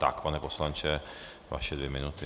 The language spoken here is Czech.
Tak, pane poslanče, vaše dvě minuty.